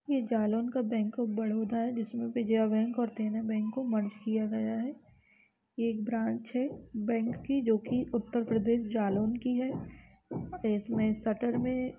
यह जालौन का bank of Baroda है जिसमें विजया बैंक और देना बैंक को मर्ज किया गया है। यह एक ब्रांच है बैंक की जोकि उत्तर प्रदेश जालौन की है इसमे शटर में --